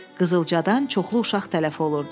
Qızılcadan çoxlu uşaq tələf olurdu.